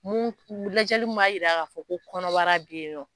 Mun lajɛli min b'a jira k'a fɔ ko kɔnɔbara bi yen nɔn.